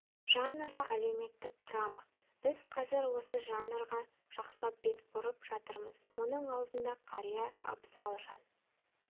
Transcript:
жанры әлеуметтік драма біз қазір осы жанрға жақсылап бет бұрып жатырмыз мұның алдында қария абзал жан